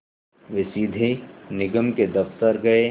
वे सीधे निगम के दफ़्तर गए